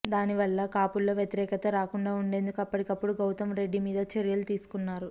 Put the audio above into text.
దాని వల్ల కాపుల్లో వ్యతిరేకత రాకుండా ఉండేందుకు అప్పటికప్పుడు గౌతమ్ రెడ్డి మీద చర్యలు తీసుకున్నారు